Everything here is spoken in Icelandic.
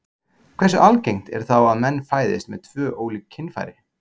Hversu algengt er þá að menn fæðist með tvö ólík kynfæri?